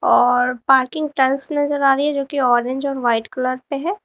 और parking tiles नजर आ रही है जो कि ऑरेंज और व्हाइट कलर पे है।